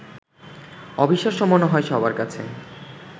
অবিশ্বাস্য মনে হয় সবার কাছে